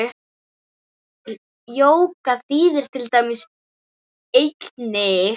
Jóga þýðir til dæmis eining.